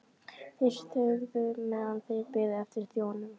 Þeir þögðu meðan þeir biðu eftir þjóninum.